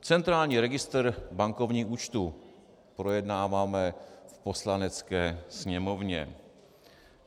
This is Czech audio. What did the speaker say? Centrální registr bankovních účtů - projednáváme v Poslanecké sněmovně.